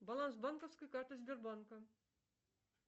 баланс банковской карты сбербанка